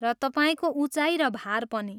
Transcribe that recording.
र तपाईँको उचाइ र भार पनि।